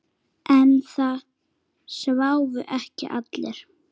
En það sváfu ekki allir.